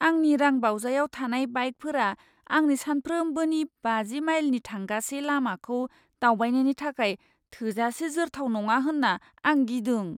आंनि रांबावजायाव थानाय बाइकफोरा आंनि सानफ्रोमबोनि बाजि माइलनि थांगासे लामाखौ दावबायनायनि थाखाय थोजासे जोरथाव जानाय नङा होन्ना आं गिदों।